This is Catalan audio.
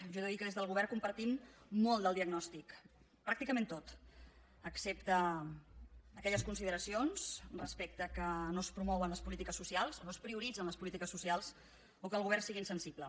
jo he de dir que des del govern compartim molt del diagnòstic pràcticament tot excepte aquelles consideracions respecte que no es promouen les polítiques socials o no es prioritzen les polítiques socials o que el govern sigui insensible